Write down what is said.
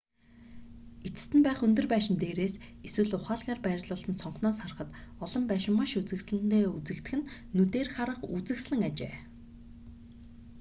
эцэст нь байх өндөр байшин дээрээс эсвэл ухаалгаар байрлуулсан цонхноос харахад олон байшин маш үзэсгэлэнтэй үзэгдэх нь нүдээр харах үзэсгэлэн ажээ